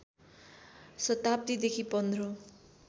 शताब्दीदेखि पन्ध्रौँ